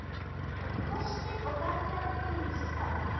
KOSTIR OG GALLAR ÝMISSA STAÐA